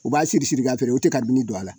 U b'a siri-siri k'a feere u tɛ karibini don a la